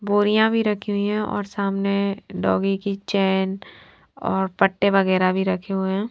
बोरिया भी रखी हुई है और सामने डॉगी की चैन और पटे वगैरह भी रखे हुए है।